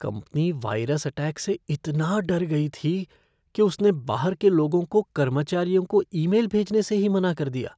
Company virus attack से इतना डर गई थी कि उसने बाहर के लोगों को कर्मचारियों को ईमेल भेजने से ही मना कर दिया।